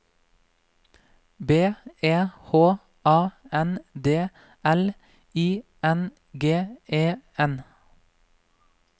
B E H A N D L I N G E N